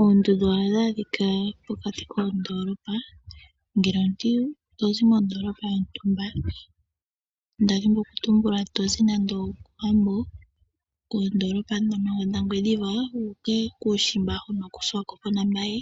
Oondundu ohadhi adhika pokati koondoolopa. Ngele omuntu ta zi mondoolopa yontumba, nda dhini okutumbula to zi nande okOwambo, koondoolopa ndhono dhagwediva wu uka kuushimba huno kOshiwakopo naMbaye,